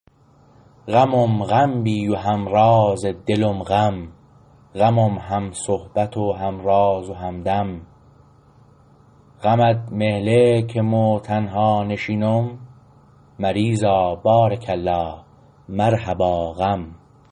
غمم غم بی و همراز دلم غم غمم هم صحبت و همراز و همدم غمت مهله که مو تنها نشینم مریزا بارک الله مرحبا غم